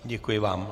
Děkuji vám.